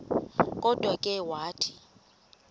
kodwa ke wathi